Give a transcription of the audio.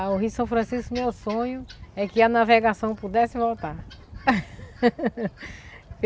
O Rio São Francisco, meu sonho, é que a navegação pudesse voltar.